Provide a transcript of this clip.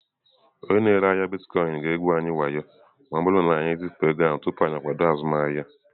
Onye na-ere ahịa Bitkoinsị ga-egwu wayo anyị ma ọ bụrụ na anyị ezipụ ego ahụ tupu anyị akwado azụmahịa.